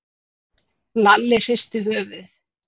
Lalli hristi höfuðið.